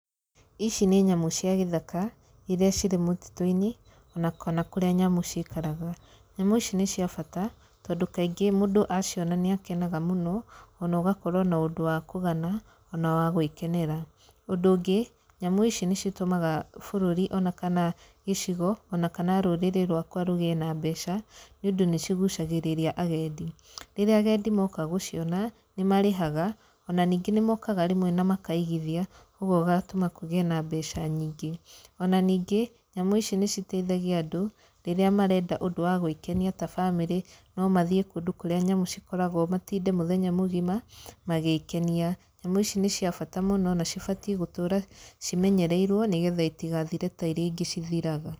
Ici nĩ nyamũ cia gĩthaka, irĩa cirĩ mũtitũ-inĩ ona kana kũrĩa nyamũ ciikaraga. Nyamũ ici nĩ cia bata, tondũ kaingĩ mũndũ aciona nĩ akenaga mũno, ona ũgakorwo na ũndũ wa kũgana ona wa gwĩkenera. Ũndũ ũngĩ, nyamũ ici nĩ citũmaga bũrũri ona kana gĩcigo ona kana rũrĩrĩ rwakwa rũgiĩ na mbeca, nĩ ũndũ nĩ cigucagĩrĩria agendi. Rĩrĩa agendi moka gũciona, nĩ marĩhaga, ona ningĩ nĩ mokaga rĩmwe na makaigithia, ũguo ũgatũma kũgiĩ na mbeca nyingĩ. Ona ningĩ, nyamũ ici nĩ citeithagia andũ, rĩrĩa marenda ũndũ wa gwĩkenia ta bamĩrĩ no mathiĩ kũndũ kũrĩa nyamũ cikoragwo matinde mũthenya mũgima magĩkenia. Nyamũ ici nĩ cia bata mũno na cibatiĩ gũtũra cimenyereirwo nĩ getha itigathire na irĩa ingĩ cithiraga.